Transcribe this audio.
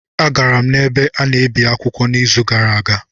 Agara m n'ebe a na-ebi akwụkwọ n'izu gara aga